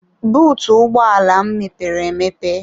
Bụụtụ ụgbọ ala m mepere emepe.